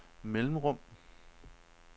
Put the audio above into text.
mellemrum